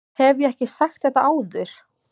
Hef ég ekki sagt þetta áður?